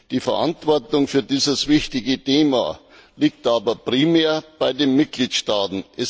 Die Verantwortung für dieses wichtige Thema liegt aber primär bei den Mitgliedstaaten.